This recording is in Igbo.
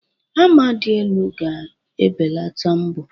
Hama dị elu ga-ebelata mbọ.